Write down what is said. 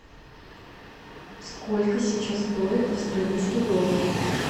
сколько сейчас стоит австралийский доллар